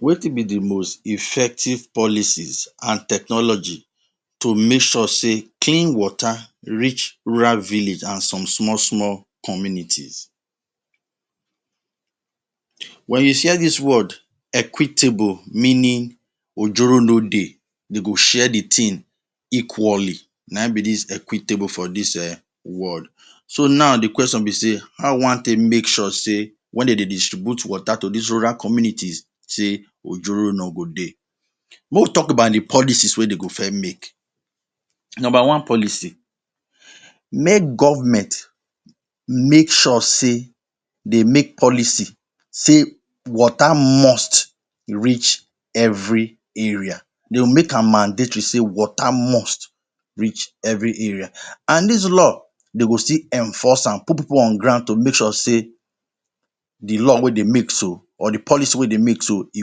Wetin be the most effective policies and technology to make sure sey clean water reach rural village an some small small communities? Wen you hear dis word “equitable” meaning ojoro no dey, de go share the tin equally. Na ein be dis equitable for dis um world. So, now the question be sey how we wan take make sure sey wen de dey distribute water to dis rural communities sey ojoro no go dey? Make we talk about the policies wey de go first make. Nomba one policy: Make government make sure sey de make policy sey water must reach every area. make am mandatory sey water must reach every area. An dis law, dey go still enforce am, put pipu on ground to make sure sey the law wey de make so, or the policy wey de make so, e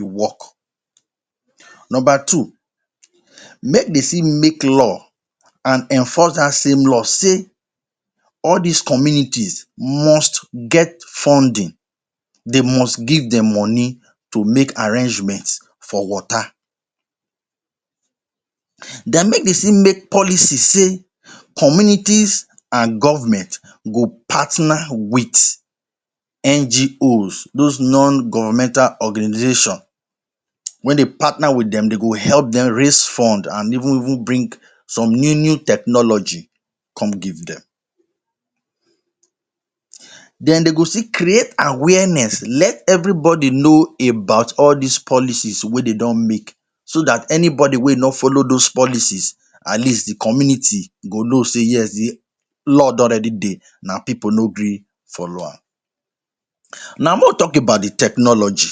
work. Nomba two: Make de still make law an enforce dat same law sey all dis communities must get funding. De must give dem money to make arrangement for water. Then make de still make policy sey communities an government go partner with NGOs – dos Non-Governmental Organization. Wen de partner with dem, de go help dem raise fund an even even bring some new-new technology come give dem. Then de go still create awareness let everybody know about all dis policies wey de don make so dat anybody wey no follow dos policies, at least the community e go know sey yes the law don already dey, na pipu no gree follow am. Now, make we talk about the technology.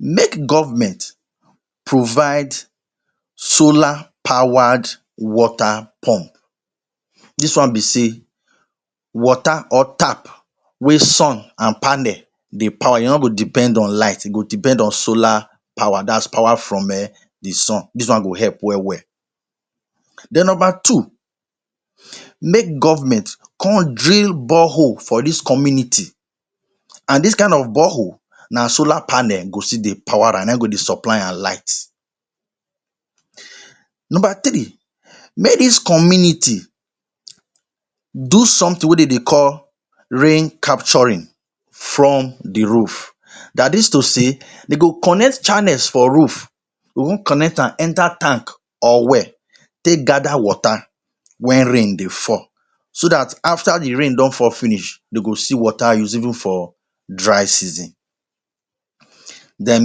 Make government provide solar powered water pump. Dis one be sey water or tap wey sun an panel dey power. E no go depend on light, e go depend on solar power – dat’s power from um the sun. Dis one go help well-well. Then nomba two, make government con drill borehole for dis community. An dis kain of borehole, na solar panel go still dey power am – na ein go dey supply am light. Nomba three, make dis community do something wey de dey call rain capturing from the roof. Dat is to say de go connect channels for roof, go con connect am enter tank or well take gather water wen rain dey fall so dat after the rain don fall finish, de go see water use even for dry season. Then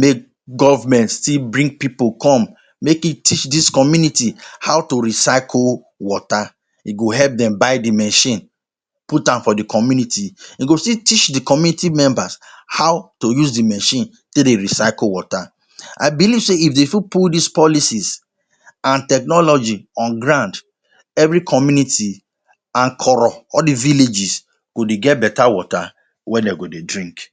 make government still bring pipu come make e teach dis community how to recycle water. E go help dem buy the machine, put am for the community. E go still teach the community members how to use the machine take dey recycle water. I believe sey if dey fit put dis policies and technology on ground, every community and koro – all the villages – go dey get beta water wey de go dey drink.